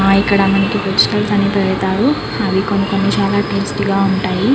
ఇక్కడ మనకి వెజ్ బిరియాని పడతారు అవి చాలా టేస్ట్ గ ఉంటాయి.